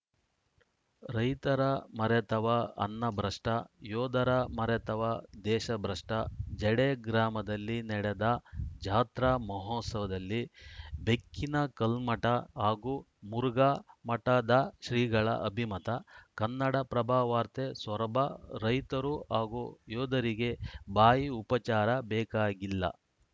ರೈತರ ಮರೆತವ ಅನ್ನಭ್ರಷ್ಟ ಯೋಧರ ಮರೆತವ ದೇಶಭ್ರಷ್ಟ ಜಡೆ ಗ್ರಾಮದಲ್ಲಿ ನಡೆದ ಜಾತ್ರಾ ಮಹೋತ್ಸವದಲ್ಲಿ ಬೆಕ್ಕಿನಕಲ್ಮಠ ಹಾಗೂ ಮುರುಘಾ ಮಠದ ಶ್ರೀಗಳ ಅಭಿಮತ ಕನ್ನಡಪ್ರಭ ವಾರ್ತೆ ಸೊರಬ ರೈತರು ಹಾಗೂ ಯೋಧರಿಗೆ ಬಾಯಿ ಉಪಚಾರ ಬೇಕಾಗಿಲ್ಲ